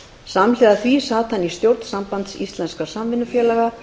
samhliða því sat hann í stjórn sambands íslenskra samvinnufélaga